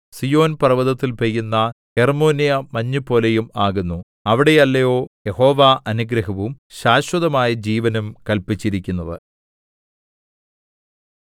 സീയോൻ പർവ്വതത്തിൽ പെയ്യുന്ന ഹെർമ്മോന്യമഞ്ഞുപോലെയും ആകുന്നു അവിടെയല്ലയോ യഹോവ അനുഗ്രഹവും ശാശ്വതമായ ജീവനും കല്പിച്ചിരിക്കുന്നത്